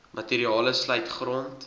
materiale sluit grond